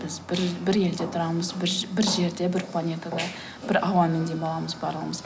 біз бір бір елде тұрамыз бір жерде бір планетада бір ауамен демаламыз барлығымыз